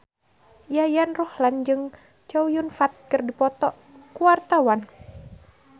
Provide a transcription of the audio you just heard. Yayan Ruhlan jeung Chow Yun Fat keur dipoto ku wartawan